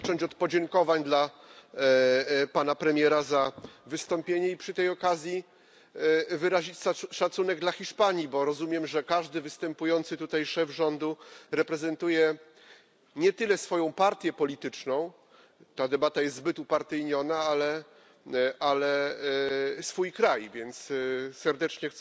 Chcę zacząć od podziękowań dla Pana Premiera za wystąpienie i przy tej okazji wyrazić szacunek dla Hiszpanii, bo rozumiem, że każdy występujący tutaj szef rządu reprezentuje nie tyle swoją partię polityczną ta debata jest zbyt upartyjniona ale swój kraj. Więc chcę serdecznie